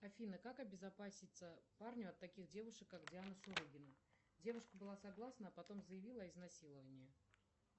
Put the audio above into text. афина как обезопаситься парню от таких девушек как диана шурыгина девушка была согласна а потом заявила об изнасиловании